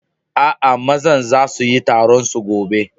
Aa, mazan zasu yi taron su gobe.